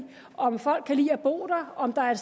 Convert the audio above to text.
om folk kan lide at bo der og om der er